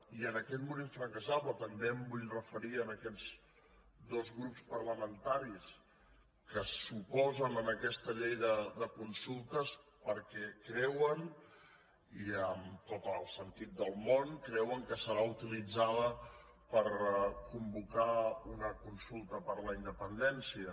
i amb aquest mur infranquejable també em vull referir a aquests dos grups parla mentaris que s’oposen a aquesta llei de consultes perquè creuen i amb tot el sentit del món que serà utilitzada per convocar una consulta per la independència